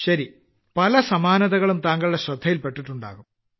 ശരി പല സമാനതകളും താങ്കളുടെ ശ്രദ്ധയിൽപെട്ടിട്ടുണ്ടാവും